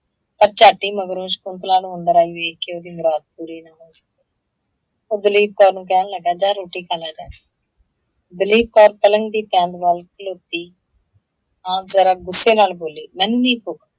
ਪਰ ਝੱਟ ਹੀ ਮਗਰੋਂ ਸ਼ਕੁੰਤਲਾ ਨੂੰ ਅੰਦਰ ਆਈ ਵੇਖ ਕੇ ਉਹਦੀ ਮੁਰਾਦ ਪੂਰੀ ਨਾ ਹੋ ਸਕੀ। ਓਹ ਦਲੀਪ ਕੌਰ ਨੂੰ ਕਹਿਣ ਲੱਗਾ ਜਾ ਰੋਟੀ ਖਾ ਲੈ ਜਾਕੇ ਦਲੀਪ ਕੌਰ ਪਲੰਗ ਦੀ ਟੰਗ ਵੱਲ ਖਲੋਤੀ ਆਂ ਜ਼ਰਾ ਗੁੱਸੇ ਨਾਲ ਬੋਲੀ, ਮੈਨੂੰ ਨਹੀਂ ਭੁੱਖ